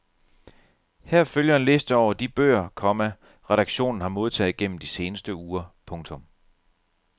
Her følger en liste over de bøger, komma redaktionen har modtaget gennem de seneste uger. punktum